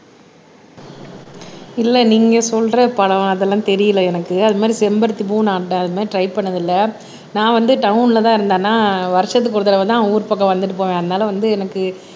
இல்லை நீங்க சொல்ற பழம் அதெல்லாம் தெரியலை எனக்கு அது மாதிரி செம்பருத்திப்பூ நான் அந்த அது மாதிரி ட்ரை பண்ணது இல்லை நான் வந்து டவுன்லதான் இருந்தேன் ஆனா வருஷத்துக்கு ஒரு தடவைதான் ஊர் பக்கம் வந்துட்டு போவேன் அதனால வந்து எனக்கு